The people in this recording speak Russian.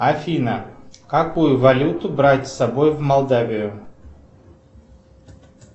афина какую валюту брать с собой в молдавию